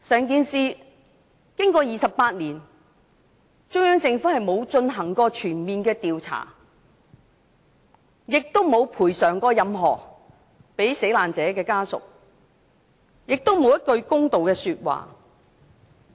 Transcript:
經過28年，中央政府沒有進行全面調查，沒有向死難者家屬作出任何賠償，也沒有說過一句公道說話。